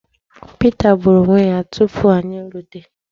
Pita gbùrù onwe ya tupu anyị erute.